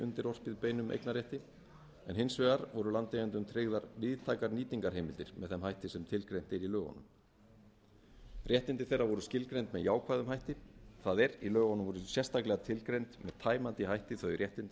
undirorpið beinum eignarrétti en hins vegar voru landeigendum tryggðar víðtækar nýtingarheimildir með þeim hætti sem tilgreint er í lögunum réttindi þeirra voru skilgreind með jákvæðum hætti það er í lögunum voru sérstaklega tilgreind með tæmandi hætti þau réttindi